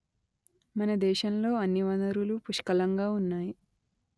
మన దేశంలో అన్ని వనరులూ పుష్కలంగా ఉన్నాయి